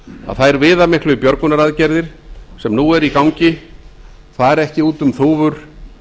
að þær viðamiklu björgunaraðgerðir sem nú eru í gangi fari ekki út um þúfur